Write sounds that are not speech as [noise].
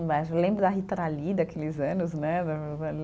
Lembro da Rita Lee daqueles anos, né? [unintelligible]